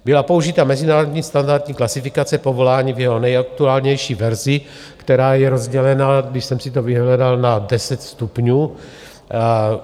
Byla použita mezinárodní standardní klasifikace povolání v jeho nejaktuálnější verzi, která je rozdělená, když jsem si to vyhledal, na deset stupňů.